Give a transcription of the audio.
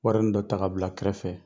Wari ni dɔ ta ka bila kɛrɛfɛ.